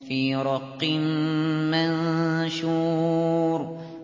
فِي رَقٍّ مَّنشُورٍ